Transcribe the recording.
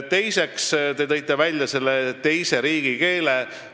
Teiseks, te tõite välja teise riigikeele.